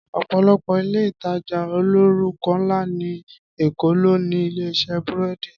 Ọ̀pọ̀lọpọ̀ Ilé-ìtajà olórúkọ ńlá ní Èkó ló ní ilé iṣẹ́ búrẹ́dì